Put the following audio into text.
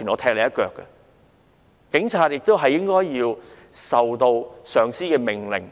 他們應該服從上司命令，